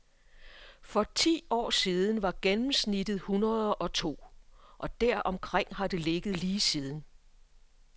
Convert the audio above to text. For ti år siden var gennemsnittet hundredeogto, og deromkring har det ligget lige siden.